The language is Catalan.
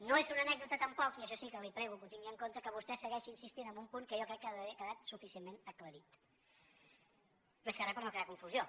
no és una anècdota tampoc i això sí que li prego que ho tingui en compte que vostè segueixi insistint en un punt que jo crec que ha d’haver quedat suficientment aclarit més que re per no crear confusió